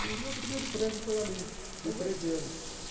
E meu primeiro emprego foi ali, com treze anos.